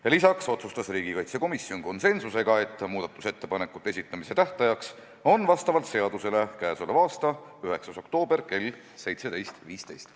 Ja lisaks otsustas riigikaitsekomisjon konsensusega, et muudatusettepanekute esitamise tähtaeg on vastavalt seadusele k.a 9. oktoober kell 17.15.